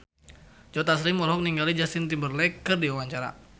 Joe Taslim olohok ningali Justin Timberlake keur diwawancara